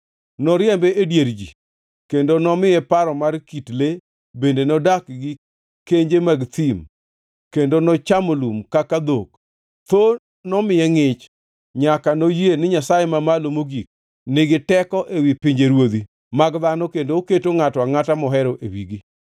Noriembe e dier ji kendo nomiye paro mar kit le bende nodak gi kenje mag thim kendo nochamo lum kaka dhok tho nomiye ngʼich, nyaka noyie ni Nyasaye Mamalo Mogik nigi teko ewi pinjeruodhi mag dhano kendo oketo ngʼato angʼata mohero e wigi.